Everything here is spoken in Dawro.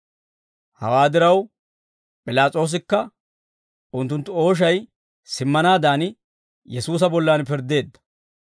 Hawaa diraw, P'ilaas'oosikka unttunttu ooshay simmanaadan Yesuusa bollan pirddeedda.